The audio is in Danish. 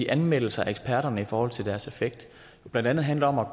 anmeldelser af eksperterne i forhold til deres effekt blandt andet handler om at